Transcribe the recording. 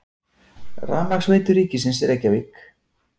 Rafmagnsveitur ríkisins, Reykjavík.